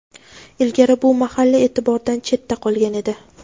Ilgari bu mahalla e’tibordan chetda qolgan edi.